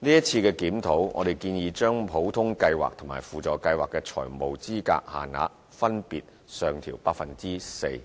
在今次的檢討，我們建議將普通計劃和輔助計劃的財務資格限額分別上調 4%，